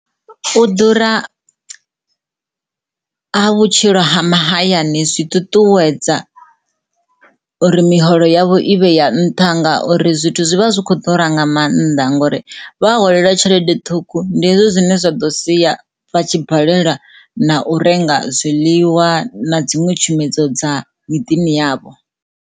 U ḓura ha ha vhutshilo ha mahayani zwi ṱuṱuwedza ri miholo yavho i vhe ya nṱha ngauri zwithu zwi vha zwi kho ḓura nga mannḓa ngori vha holeliwa tshede ṱhukhu ndi hezwi zwine zwa ḓo sia vha tshi balelwa na u renga zwiḽiwa na dziṅwe tshumedzo dza miḓini yavho.